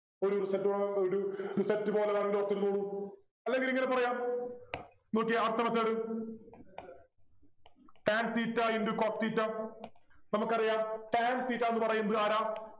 ഒരു result result പോലെ ഇരുന്നോളും അല്ലെങ്കിൽ ഇങ്ങനെ പറയാം നോക്കിയേ അടുത്ത method Tan theta into cot theta നമുക്കറിയാം Tan theta ന്നു പറയുന്നതാരാ